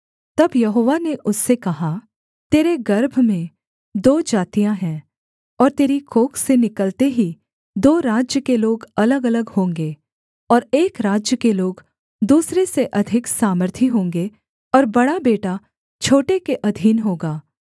तब यहोवा ने उससे कहा तेरे गर्भ में दो जातियाँ हैं और तेरी कोख से निकलते ही दो राज्य के लोग अलगअलग होंगे और एक राज्य के लोग दूसरे से अधिक सामर्थी होंगे और बड़ा बेटा छोटे के अधीन होगा